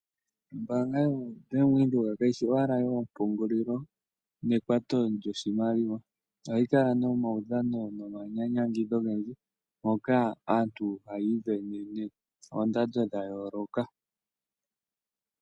Ombaanga yoBank Windhoek kayi shi owala yoompungulilo nekwato lyoshimaliwa. Ohayi kala nomaudhano nomanyanyangidho ogendji moka aantu hayiivenene oondando dha yooloka.